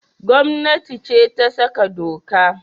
Gomnati ce ta sa doka